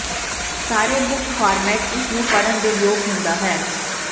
ਸਾਰੇ ਮੁੱਖ ਫਾਰਮੈਟ ਇਸ ਨੂੰ ਪੜ੍ਹਨ ਦੇ ਯੋਗ ਹੁੰਦਾ ਹੈ